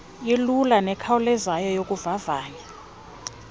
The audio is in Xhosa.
ilula nekhawulezayo yokuvavanya